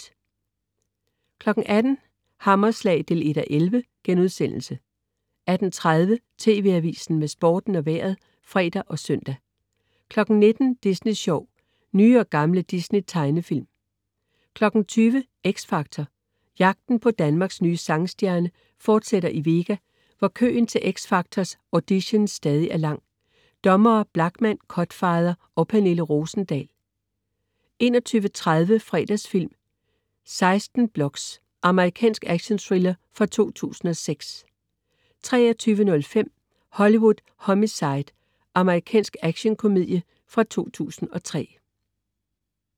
18.00 Hammerslag 1:11* 18.30 TV Avisen med Sporten og Vejret (fre og søn) 19.00 Disney Sjov. Nye og gamle Disney tegnefilm 20.00 X Factor. Jagten på Danmarks nye sangstjerne fortsætter i Vega, hvor køen til X Factors audition stadig er lang. Dommere: Blachman, Cutfather og Pernille Rosendahl 21.30 Fredagsfilm: 16 Blocks. Amerikansk actionthriller fra 2006 23.05 Hollywood Homicide. Amerikansk actionkomedie fra 2003